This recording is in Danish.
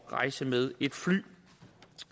rejse med et fly